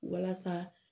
Walasa